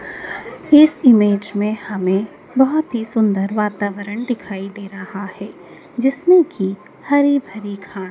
हिस image में हमें बहोत ही सुंदर वातावरण दिखाई दे रहा हैं जिसमें की हरी भरी घा--